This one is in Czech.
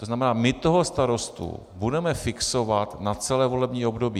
To znamená, my toho starostu budeme fixovat na celé volební období.